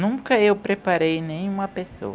Nunca eu preparei nenhuma pessoa.